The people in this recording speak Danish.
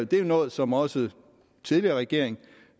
det er jo noget som også den tidligere regering